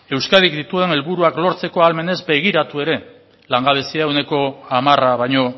euskadik dituen helburuak lortzeko ahalmenez begiratu ere langabezia ehuneko hamara baino